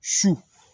Su